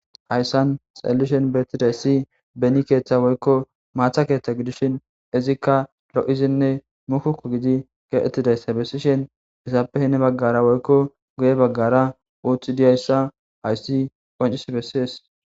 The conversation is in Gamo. Hayssan xallishen beettiday si beni keeththa woykko maatha keeththa gidishin izikka ro7izinne mukuku gidi keeettidayssa bessishen izaappe hine baggara woykko guye baggara uutxi diyayssa hayssi qoncis bessees.